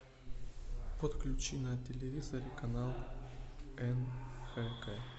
подключи на телевизоре канал нфк